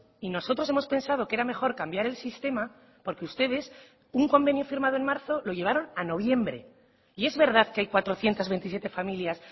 y nosotros hemos pensado que era mejor cambiar el sistema porque ustedes un convenio firmado en marzo lo llevaron a noviembre y es verdad que hay cuatrocientos veintisiete familias